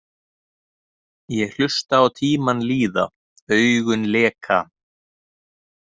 Ég hlusta á tímann líða, augun leka.